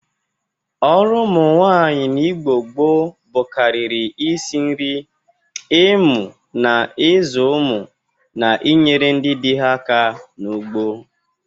Ọrụ ụmụ nwaanyị n'Igbo gboo ḅụkarịrị isi nri, imụ na ịzụ ụmụ na inyere ndị dị ha aka n'ugbo.